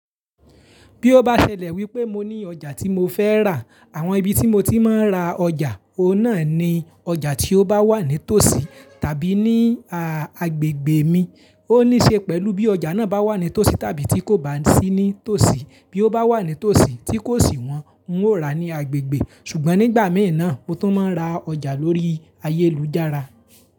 Bí ó bá ṣẹlẹ̀ wípé mo ní ọjà tí mo fẹ́ rà, àwọn ibi tí mo ti máa ń ra ọjà, òun náà ni ọjà tí ó bá wà ní tòsí tàbí ní agbègbè mi. Ò ní se pélu bí ójá náà bá wà nítòsí tàbí tí kò bá sí nítòsí. Bí ó bá wà ní tòsí, tí kò sì wọ́n, ń ó ra ní agbègbè. Ṣùgbọ́n nígbà mìí náà mo tún máa ń ra ọjà lórí ayélujára.